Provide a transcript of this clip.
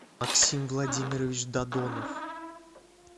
аксим владимирович дадонов